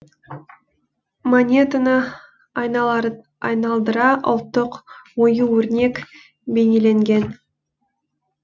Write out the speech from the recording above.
монетаны айналдыра ұлттық ою өрнек бейнеленген